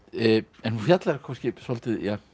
en hún fjallar kannski svolítið um